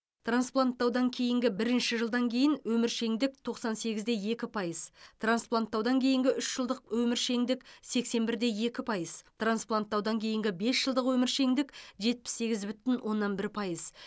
транспланттаудан кейінгі бірінші жылдан кейін өміршеңдік тоқсан сегіз де екі пайыз транспланттаудан кейінгі үш жылдық өміршеңдік сексен бір де екі пайыз транспланттаудан кейінгі бес жылдық өміршеңдік жетпіс сегіз бүтін оннан бір пайыз